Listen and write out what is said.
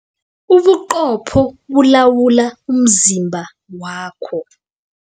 Ubuqopho bulawula umzimba wakho.